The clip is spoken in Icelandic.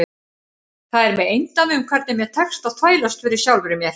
Það er með eindæmum hvernig mér tekst að þvælast fyrir sjálfri mér.